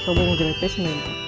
сау бол деп айтпайсың ба